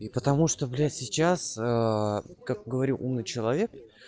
и потому блять сейчас ээ как говорю умный человек